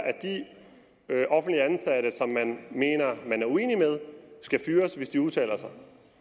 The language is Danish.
at de offentligt ansatte som man mener at man er uenig med skal fyres hvis de udtaler sig